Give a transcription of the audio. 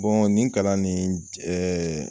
Bɔn nin kalan nin